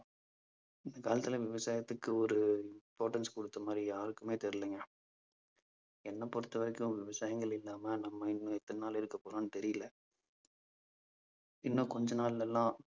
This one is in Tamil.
இந்த காலத்துல விவசாயத்துக்கு ஒரு importance கொடுத்த மாதிரி யாருக்குமே தெரியலைங்க. என்னை பொறுத்தவரைக்கும் விவசாயங்கள் இல்லாம நம்ம இன்னும் எத்தனை நாள் இருக்கப்போறோம்னு தெரியலை இன்னும் கொஞ்ச நாள்ல எல்லாம்